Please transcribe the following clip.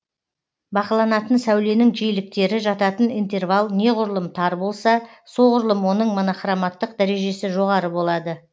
бақыланатын сәуленің жиіліктері жататын интервал неғұрлым тар болса соғұрлым оның монохроматтық дәрежесі жоғары болады